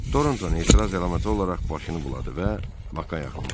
Tornton etiraz əlaməti olaraq başını buladı və Baka yaxınlaşdı.